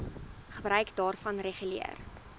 gebruik daarvan reguleer